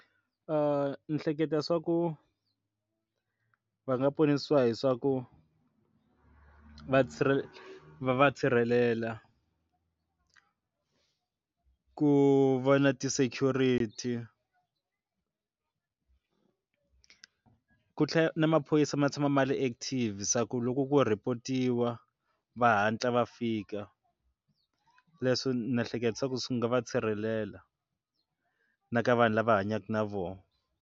ni hleketa swa ku va nga ponisiwa hi swa ku vatirhi va sirhele va va sirhelela ku va na ti-security ku tlhela na maphorisa ma tshama ma ri active se a ku loko ku report-iwa va hatla va fika leswi na ehleketisa ku swi nga va sirhelela na ka vanhu lava hanyaka na vona.